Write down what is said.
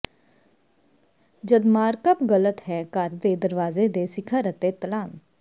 ਜਦ ਮਾਰਕਅਪ ਗ਼ਲਤ ਹੈ ਘਰ ਦੇ ਦਰਵਾਜ਼ੇ ਦੇ ਸਿਖਰ ਅਤੇ ਤਲ ਾਨ